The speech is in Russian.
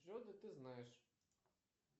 джой да ты знаешь